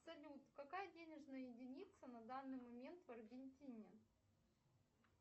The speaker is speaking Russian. салют какая денежная единица на данный момент в аргентине